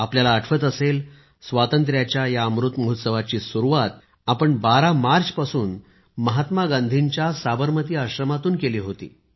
आपल्याला आठवत असेल स्वातंत्र्याचा हा अमृत महोत्सव आपण 12 मार्चपासून महात्मा गांधींच्या साबरमती आश्रमातून केली होती